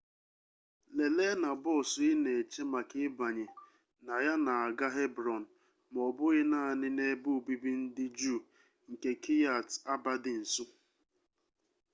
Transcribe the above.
lelee na bọọsụ ị na-eche maka ịbanye na ya na-aga hebron ma ọ bụghị naanị na ebe obibi ndị juu nke kiryat arba dị nso